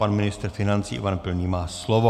Pan ministr financí Ivan Pilný má slovo.